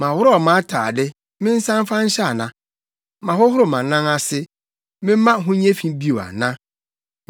Maworɔw mʼatade, mensan mfa nhyɛ ana? Mahohoro mʼanan ase, memma ho nyɛ fi bio ana?